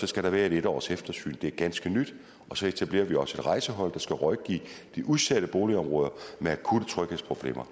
skal der være et en års eftersyn det er ganske nyt så etablerer vi også et rejsehold der skal rådgive de udsatte boligområder med akutte tryghedsproblemer